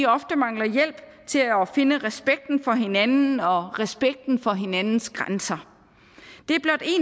ofte mangler hjælp til at finde respekten for hinanden og respekten for hinandens grænser det